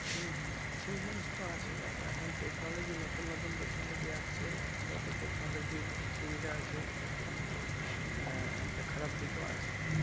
হুম হুম সেই জিনিস তা আছে দেখো এখন তেকোনোলোজি নতুন নতুন তেকোনোলজি আসছে যত তেকোনোলজি সুবিধা হচ্ছে টোটো কিন্তু আঃ একটা খারাপ দিক আছে